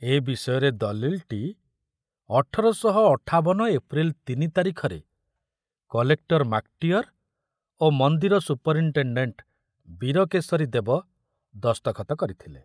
ଏ ବିଷୟରେ ଦଲିଲଟି ଅଠର ଶହ ଅଠାବନ ଏପ୍ରିଲ ତିନି ତାରିଖରେ କଲେକ୍ଟର ମାକଟିଅର ଓ ମନ୍ଦିର ସୁପର୍‌ଇନ୍‌ଟେଣ୍ଡେଣ୍ଟ ବୀରକେଶରୀ ଦେବ ଦସ୍ତଖତ କରିଥିଲେ।